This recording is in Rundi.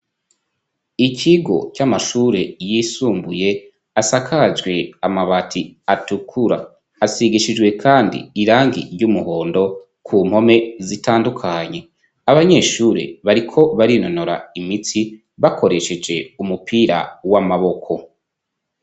Ikigo c'amashure yisumbuye asakajwe amabati atukura hasigishijwe, kandi irangi ry'umuhondo ku mpome zitandukanye abanyeshure bariko barinonora imitsi bakoresheje umupira w'amaboko.